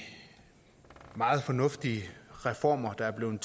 meget fornuftige reformer der er blevet